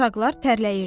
uşaqlar tərləyirdilər.